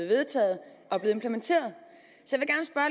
vedtaget og bliver implementeret så